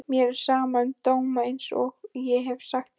Mér er sama um dóma einsog ég hef sagt þér.